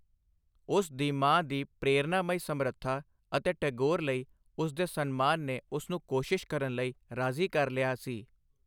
ਉਸ ਦੀ ਮਾਂ ਦੀ ਪ੍ਰੇਰਨਾਮਈ ਸਮਰੱਥਾ ਅਤੇ ਟੈਗੋਰ ਲਈ ਉਸ ਦੇ ਸਨਮਾਨ ਨੇ ਉਸ ਨੂੰ ਕੋਸ਼ਿਸ਼ ਕਰਨ ਲਈ ਰਾਜ਼ੀ ਕਰ ਲਿਆ ਸੀ।